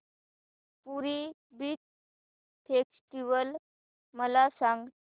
पुरी beach festival मला सांग